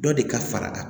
Dɔ de ka fara